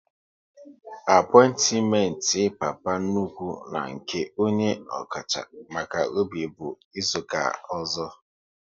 Apointiment Papa nnukwu na nke onye ọkacha maka obi bụ izuka ọzọ